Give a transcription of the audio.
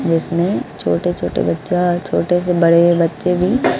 जिसमें छोटे छोटे बच्चा छोटे से बड़े बच्चे भी--